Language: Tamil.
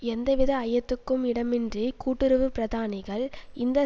எந்தவித ஐயத்துக்கும் இடமின்றி கூட்டுறவு பிரதானிகள் இந்த